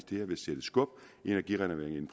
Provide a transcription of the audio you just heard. det her vil sætte skub i energirenoveringen